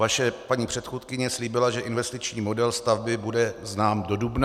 Vaše paní předchůdkyně slíbila, že investiční model stavby bude znám do dubna.